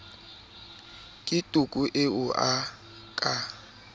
ke toko eo a ka